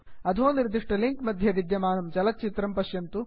अधो निर्दिष्टलिंक् मध्ये विद्यमानं चलच्चित्रं पश्यन्तु